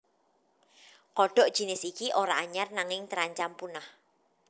Kodhok jinis iki ora anyar nanging terancam punah